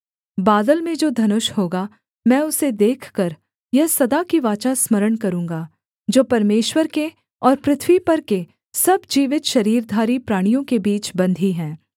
बादल में जो धनुष होगा मैं उसे देखकर यह सदा की वाचा स्मरण करूँगा जो परमेश्वर के और पृथ्वी पर के सब जीवित शरीरधारी प्राणियों के बीच बंधी है